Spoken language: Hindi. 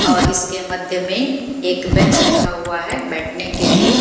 और इसके मध्य में एक बेंच रखा हुआ है बैठने के लिए।